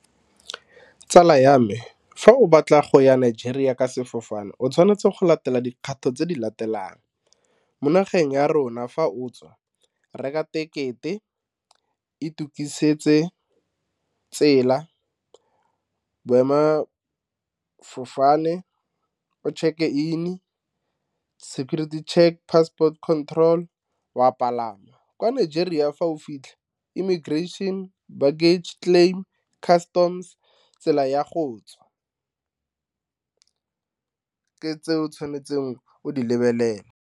Tsala ya me, fa o batla go ya Nigeria ka sefofane o tshwanetse go latela dikgato tse di latelang, mo nageng ya rona fa o tswa reka tekete, e tukisetse tsela, boemela fofane o check e in security check passport control wa palama kwa nageng jara ya fa o fitlhe irrigation baggage claim, customs tsela ya go tswa, tseo ke tse o tshwanetseng o di lebelele.